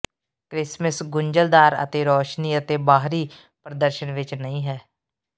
Christmas ਗੁੰਝਲਦਾਰ ਅਤੇ ਰੌਸ਼ਨੀ ਅਤੇ ਬਾਹਰੀ ਪ੍ਰਦਰਸ਼ਨ ਵਿਚ ਨਹੀਂ ਹੈ